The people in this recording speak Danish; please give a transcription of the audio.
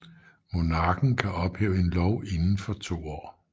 Monarken kan ophæve en lov inden for to år